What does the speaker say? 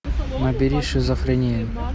набери шизофрения